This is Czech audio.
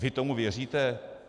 Vy tomu věříte?